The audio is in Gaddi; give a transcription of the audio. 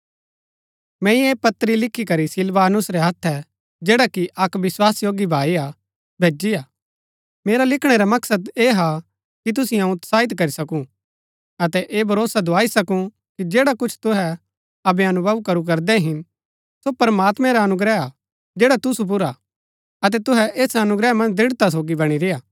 मैंई ऐह पत्री लिखीकरी सिलवानुस रै हत्थै जैड़ा कि अक्क विस्वासयोग्य भाई हा भैजी हा मेरा लिखणै रा मकसद ऐह हा कि तुसिओ अऊँ उत्साहित करी सकू अतै ऐह भरोसा दुआई सकू कि जैड़ा कुछ तुहै अबै अनुभव करू करदै हिन सो प्रमात्मैं रा अनुग्रह हा जैड़ा तुसु पुर हा अतै तुहै ऐस अनुग्रह मन्ज दृढ़ता सोगी बणी रेय्आ